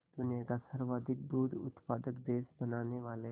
दुनिया का सर्वाधिक दूध उत्पादक देश बनाने वाले